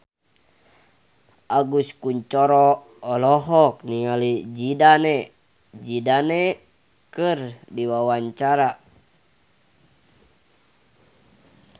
Agus Kuncoro olohok ningali Zidane Zidane keur diwawancara